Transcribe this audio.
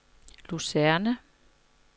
Lucerne